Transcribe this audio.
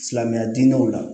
Silamɛya diinɛw la